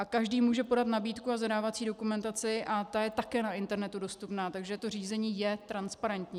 A každý může podat nabídku a zadávací dokumentaci a ta je také na internetu dostupná, takže to řízení je transparentní.